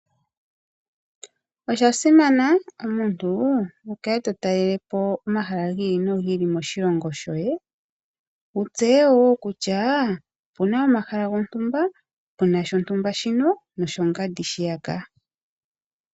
Osha simana omuntu wu kale to talele po omahala gi ili no gi ili moshilongo shoye , opo wu tseye kutya opu na omahala gontumba mu na shontumba shino noshongandi shiyaka.